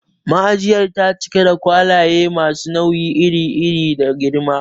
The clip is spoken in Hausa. Ma'ajiyar ta cika da kwalaye masu nau'i iri iri da girma.